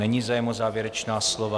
Není zájem o závěrečná slova.